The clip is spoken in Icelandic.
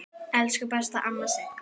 Elsku besta amma Sigga.